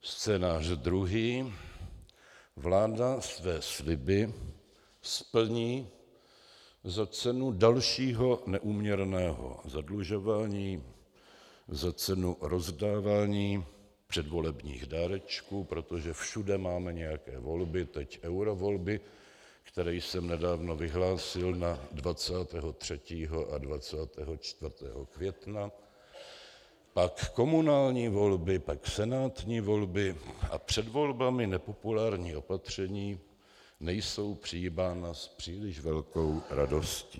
Scénář druhý: Vláda své sliby splní za cenu dalšího neúměrného zadlužování, za cenu rozdávání předvolebních dárečků, protože všude máme nějaké volby - teď eurovolby, které jsem nedávno vyhlásil na 23. a 24. května, pak komunální volby, pak senátní volby a před volbami nepopulární opatření nejsou přijímána s příliš velkou radostí.